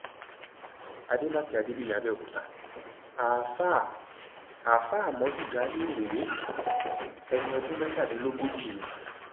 àdèmàkè adébíyì àbẹòkúta àáfàá àáfàá àmọdù jamiu rèé ẹni ọdún mẹtàdínlógójì ni